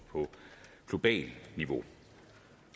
globalt niveau